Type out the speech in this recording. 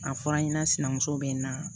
A fɔra n ɲɛna sinamuso bɛ n na